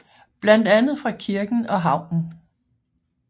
Blandt andet fra kirken og havnen